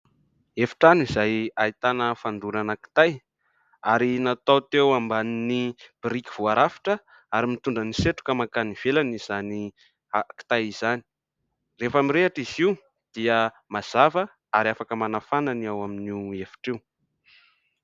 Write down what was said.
Efi-trano izay ahitana fandorana kitay ary natao teo ambanin'ny biriky voarafitra ary mitondra ny setroka mankany ivelany izany afo kitay izany. Rehefa mirehitra izy io dia mazava ary afaka manafana ny ao amin'io efitra io.